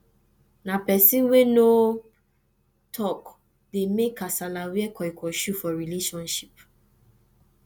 na pesin wey no tok dey mek kasala wear koikoi shoe for relationship